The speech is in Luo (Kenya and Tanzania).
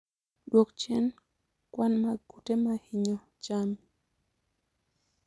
Dwok chien kwan mag kute ma hinyo chami